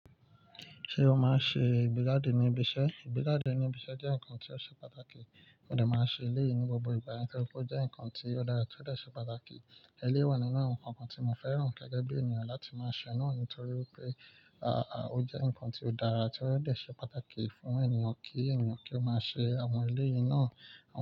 Ṣé o máa ń ṣe ìgbéga dé ní ibiṣẹ́? Ìgbéga dé ní ibiṣẹ́ jẹ́ nǹkan tí ó ṣe pàtàkì, mo dà máa ń ṣe eléyìí ní gbogbo ìgbà nítorí pé ó jẹ́ nǹkan tí ó dára tí ó dẹ̀ ṣe pàtàkì. Eléwòn nínú àwọn nǹkan kan tí mo fẹ́ràn gẹ́gẹ́ bí ènìyàn láti máa ṣe náà ni torí pé, à, à, ó jẹ́ nǹkan tí ó dára tí ó dẹ̀ ṣe pàtàkì fún ènìyàn kí ènìyàn kí ó máa ṣe àwọn eléyìí náà.